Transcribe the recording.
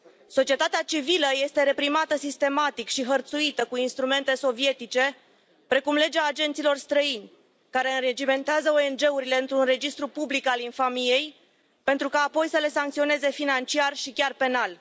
Societatea civilă este reprimată sistematic și hărțuită cu instrumente sovietice precum Legea agenților străini, care înregimentează ONG urile într un registru public al infamiei, pentru ca apoi să le sancționeze financiar și chiar penal.